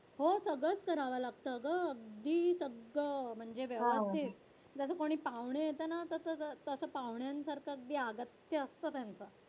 हो सगळंच करावं लागतं अगं अगदी सगळं म्हणजे व्यवस्थित जसं कोणी पाहुणे येतं ना तसं पाहुण्यांसारखं अगदी आगत्य असतं त्यांचं.